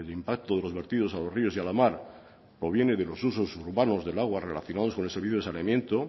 impacto de los vertidos a los ríos y a la mar proviene de los usos urbanos del agua relacionado con el servicio de saneamiento